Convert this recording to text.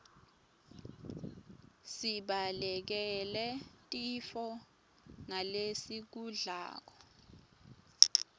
sibalekele tifo ngalesikudlako